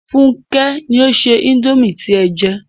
Fúnkẹ́ ni ó se indomie tí ẹ jẹ